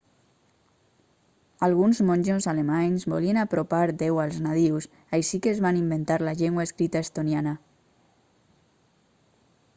alguns monjos alemanys volien apropar déu als nadius així que es van inventar la llengua escrita estoniana